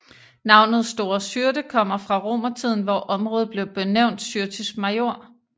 Navnet Store Syrte kommer fra romertiden hvor området blev benævnt Syrtis Major